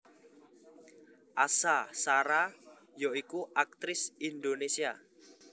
Asha Shara ya iku aktris Indonesia